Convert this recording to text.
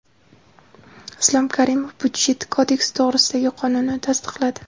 Islom Karimov Byudjet kodeksi to‘g‘risidagi qonunni tasdiqladi.